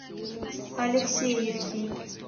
алексеевки